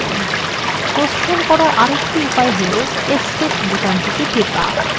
প্রস্থান করার আরেকটি উপায় হল escape বোতাম টেপা